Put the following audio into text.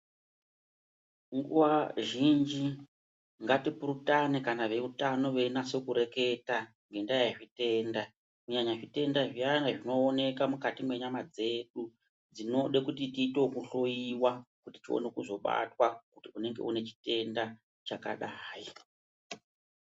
Nguwa zhinji ngatipurutane kana veutano veinase kureketa ngenda yezvitenda kunyanya zvitenda zviyani zvinonyanya kuoneka mukati mwenyama dzedu dzinode kuti tiite yekuhloyiwa kuti tioneke kuzobatwa kuti tine chitenda chakdai.